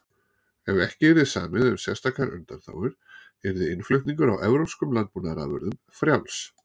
ef ekki yrði samið um sérstakar undanþágur yrði innflutningur á evrópskum landbúnaðarafurðum frjáls